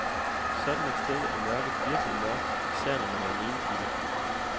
Sådan et sted er mørket virkelig mørkt, især når man er alene i det.